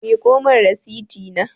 Miƙo min rasiti na